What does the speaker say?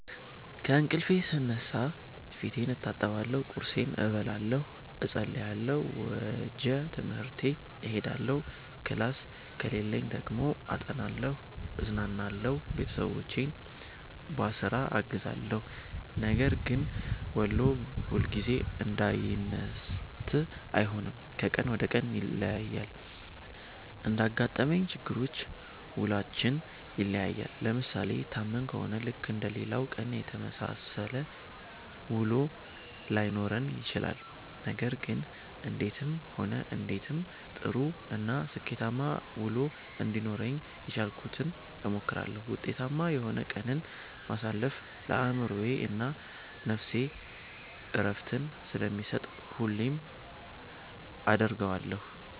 ከእንቅልፌ ስነሳ ፌቴን እታጠባለሁ ቁርሴን እበላለሁ እፀልያለሁ ወጀ ትምሀርቴ እሄዳለሁ ክላስ ከሌለኝ ደግሞ አጠናለሁ እዝናናለሁ ቤተሠቦቼን ቧስራ አግዛለሁ። ነገር ግን ውሎ ሁልጊዜ አንዳይነት አይሆንም ከቀን ወደ ቀን ይለያያል። እንዳጋጠመን ችግሮች ውሏችን ይለያያል። ለምሣሌ ታመን ከሆነ ልክ እንደሌላው ቀን የተመሣሠለ ውሎ ላይኖረን ይችላል። ነገር ግን እንዴትም ሆነ እንዴትም ጥሩ እና ስኬታማ ውሎ እንዲኖረኝ የቻልኩትን እሞክራለሁ። ውጤታማ የሆነ ቀንን ማሣለፍ ለአእምሮዬ እና ነፍሴ ዕረፍትን ስለሚሠጥ ሁሌም አደርገዋለሁ።